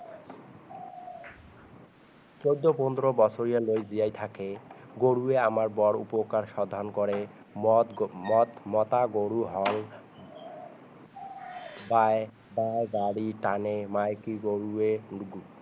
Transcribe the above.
চৌধৰ পোন্ধৰ বছৰিয়ালৈ জিয়াই থাকে গৰুৱে আমাৰ বৰ উপকাৰ সাধন কৰে মত মতা গৰু হাল বাই বা গাড়ী তানে মাইকী গৰুৱে